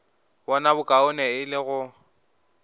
bona bokaone e le go